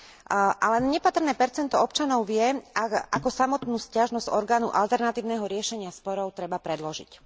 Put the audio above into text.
A len nepatrné percento občanov vie, ako samotnú sťažnosť orgánu alternatívneho riešenia sporov treba predložiť.